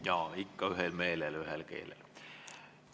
Jaa, ikka ühel meelel, ühel keelel.